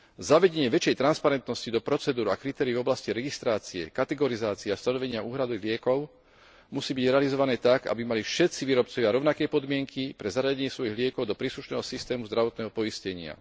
Zavedenie väčšej transparentnosti do procedúr a kritérií v oblasti registrácie, kategorizácie a stanovenia úhrady liekov musí byť realizované tak, aby mali všetci výrobcovia rovnaké podmienky pre zaradenie svojich liekov do príslušného systému zdravotného poistenia.